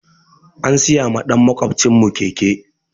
An siya ma ɗan makwaɓcin mu keke